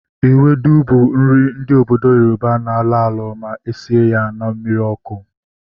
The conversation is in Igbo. Ewedu bụ nri ndị obodo Yoroba na-alọ alọ ma esie ya na mmiri ọkụ